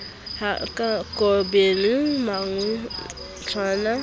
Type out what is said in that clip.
ha a kobile mangwejana a